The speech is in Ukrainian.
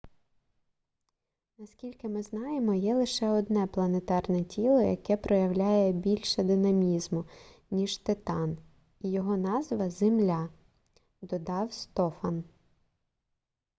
наскільки ми знаємо є лише одне планетарне тіло яке проявляє більше динамізму ніж титан і його назва земля - додав стофан